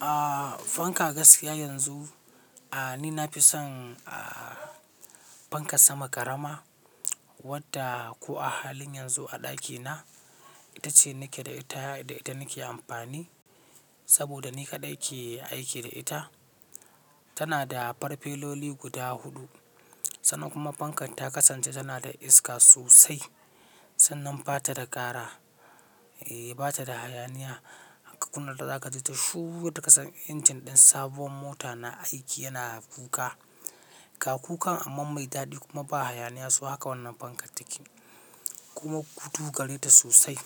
A fanka gaskiya yanzu, a ni na fi son a fankas sama ƙarama wadda ko a halin yanzu a ɗakina ita ce nake da ita da ita nake amfani saboda ni kaɗai ke aiki da ita. Tana da farfeloli guda huɗu. Sannan kuma fankan ta kasance tana da iska sosai. Sannan ba ta da ƙara, eh ba ta da hayaniya aka kunna ta za ka ji ta shuru yadda kasan injin ɗin sabuwar mota na aiki yana kuka. Ga kukan amman mai daɗi kuma ba hayaniya so haka wannan fankar take. Kuma kudu gare ta sosai.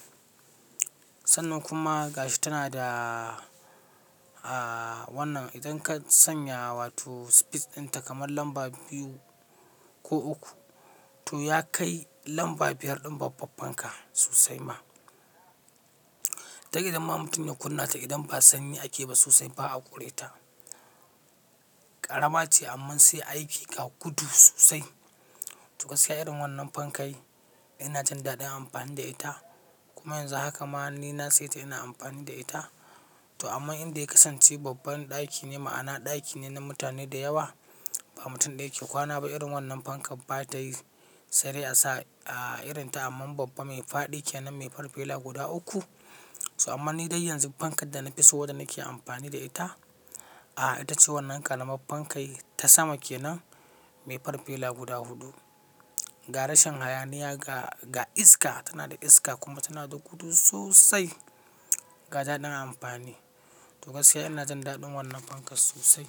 Sannan kuma gashi tana da a wannan idan ka sanya wato speed ɗinta kamar lamba biyu ko uku to ya kai lamba biyar ɗin babban fanka sosai ma. Dan idan ma mutum ya kunna ta idan ba sanyi ake ba sosai ba a ƙure ta. Ƙarama ce amma sai aiki ga gudu sosai. To gaskiya irin wannan fankai ina jin daɗin amfani da ita. Kuma yanzu haka ma ni na sai ta ina amfani da ita. To amma inda ya kasance babban ɗaki ne ma'ana ɗaki ne na mutane da yawa ba mutum ɗaya ke kwana ba irin wannan fankan ba ta yi sai dai a sa a irin ta amma babba mai faɗi kenan mai farfela guda uku. To amma ni dai yanzu fankar da na fi so wadda nake amfani da ita, a ita ce wannan ƙaramar fankai ta sama ke nan mai farfela guda huɗu. Ga rashin hayaniya ga, ga iska tana da iska kuma tana da gudu sosai ga ɗaɗin amfani. To gaskiya ina jin daɗin wannan fankar sosai.